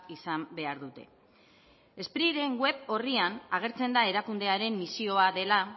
izan behar dute spriren web orrian agertzen da erakundearen misioa dela